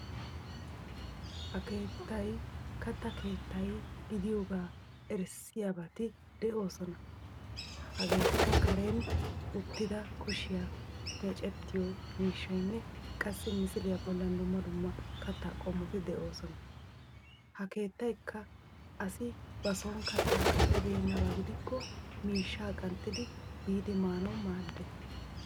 Ha keettay katta keettay gidiyoogaa erissiyabati de'oosona hegeetikka Karen uttida kushiya meecettiyo miishshayinne qassi misiliya bollan dumma dumma kattaa qommoti de'oosona. Ha keettayikka asi bason kattaa kattibeennaba gidikko miishshaa qanxxidi biidi maanawu maaddes.